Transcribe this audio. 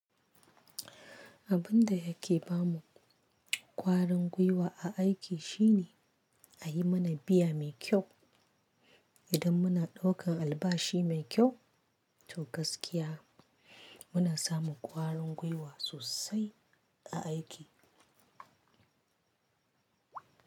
Abin da yake ba mu ƙwarin gwiwa a aiki shi ne a yi mana biya mai kyau. Idan muna ɗaukan albashi mai kyau, to gaskiya muna samun ƙwarin gwiwa sosai a aiki.